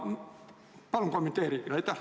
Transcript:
Palun kommenteerige!